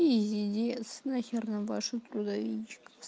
пиздец на хер нам ваша трудовичка